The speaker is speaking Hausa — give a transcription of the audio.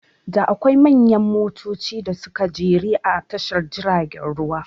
Da akwai manyan motoci da suka jere a tashar jiragen ruwa